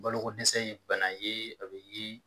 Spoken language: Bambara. Balokodsɛsɛ ye bana ye a bɛ ye